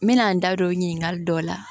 N mɛna n da don ɲininkali dɔ la